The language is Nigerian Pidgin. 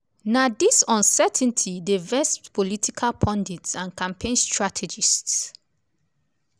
na dis uncertainty dey vex political pundits and campaign strategists.